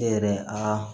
E yɛrɛ a